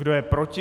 Kdo je proti?